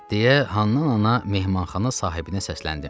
Deyə, Hənnəna mehmanxana sahibinə səsləndi.